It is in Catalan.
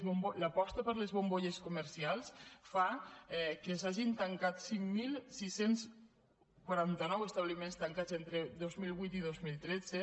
l’aposta per les bombolles comercials fa que s’hagin tancat cinc mil sis cents i quaranta nou establiments tancats entre dos mil vuit i dos mil tretze